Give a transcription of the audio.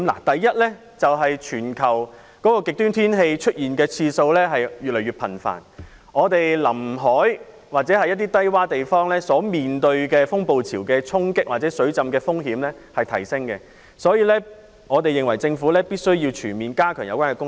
第一，全球極端天氣出現的次數越來越頻繁，臨海低窪地方面對風暴潮的衝擊或水浸風險提升，因此我們認為政府必須全面加強有關工作。